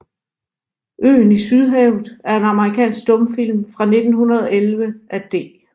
Øen i Sydhavet er en amerikansk stumfilm fra 1911 af D